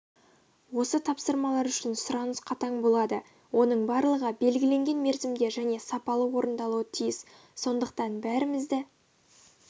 осы тапсырмалар үшін сұраныс қатаң болады оның барлығы белгіленген мерзімде және сапалы орындалуы тиіс сондықтан бәрімізді